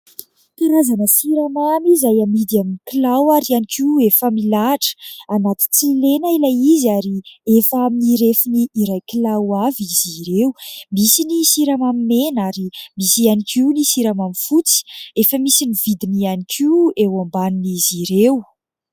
Karana siramamy izay amidy amin'ny kilo ary iany koa efa milahitra anaty tsy lena ilay izy ary efa mirefiny irakilao avy izy ireo misy ny siramamy mena ary misy iany koa ny siramamy fotsy efa misy ny vidiny ihany koa eo ambanin'izy ireo